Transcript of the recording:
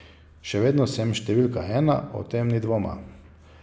Še vedno sem številka ena, o tem ni dvoma.